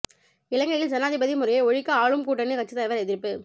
இலங்கையில் ஜனாதிபதி முறையை ஒழிக்க ஆளும் கூட்டணி கட்சித் தலைவர் எதிர்ப்பு